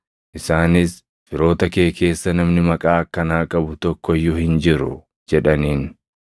Isaanis, “Firoota kee keessa namni maqaa akkanaa qabu tokko iyyuu hin jiru” jedhaniin.